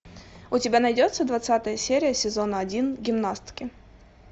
у тебя найдется двадцатая серия сезона один гимнастки